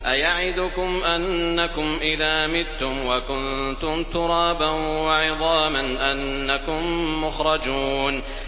أَيَعِدُكُمْ أَنَّكُمْ إِذَا مِتُّمْ وَكُنتُمْ تُرَابًا وَعِظَامًا أَنَّكُم مُّخْرَجُونَ